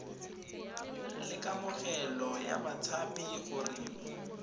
ya kamogelo ya batshabi gore